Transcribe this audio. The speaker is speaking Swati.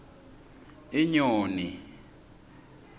inyoni